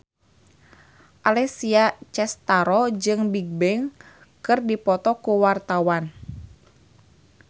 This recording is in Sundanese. Alessia Cestaro jeung Bigbang keur dipoto ku wartawan